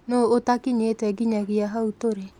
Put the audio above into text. Nũũ ũtakinyĩte nginyagia hau tũrĩ?